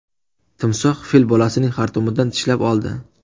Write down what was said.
Timsoh fil bolasining xartumidan tishlab oldi.